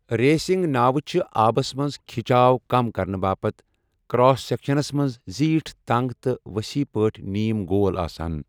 Racing ناوٕ چھِ آبَس منٛز کٕھِچاو کم کرنہٕ باپتھ کراس سیکشنَس منٛز زیٖٹھ، تنگ تہٕ ؤسیع پٲٹھۍ نیم گول آسان۔